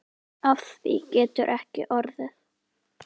Af því getur ekki orðið.